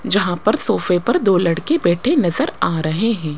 जहां पर सोफे पर दो लड़के बैठे नजर आ रहे हैं।